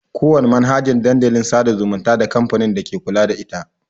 Ƙowana manhajan Dandalin sada zumunta da kamfanin dake kula da ita.